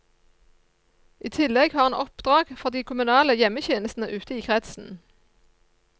I tillegg har han oppdrag for de kommunale hjemmetjenestene ute i kretsen.